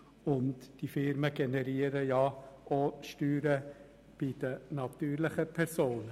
Und die Firmen generieren auch Steuern bei den natürlichen Personen.